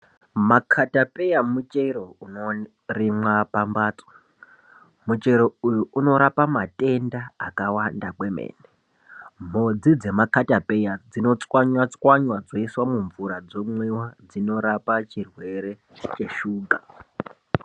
Makatapeya muchero unorimwa pambatso muchero uyu unorape matenda akawanda kwemene mhodzi dzemakatapeya dzinochanywachwanya dzoiswa kumvura dzomwiwa dzorapa chirwere cheshuga.